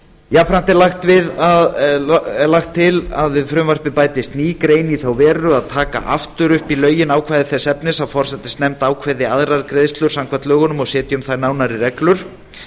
jafnframt er lagt til að við frumvarpið bætist ný grein í þá veru að taka aftur upp í lögin ákvæði þess efnis að forsætisnefnd ákveði aðrar greiðslur samkvæmt lögunum og setji um þær nánari reglur